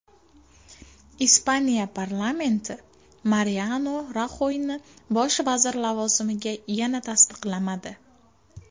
Ispaniya parlamenti Mariano Raxoyni bosh vazir lavozimiga yana tasdiqlamadi.